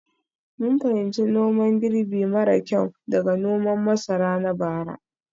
mun fahimci noman girbi mara kyau daga noman masara na bara.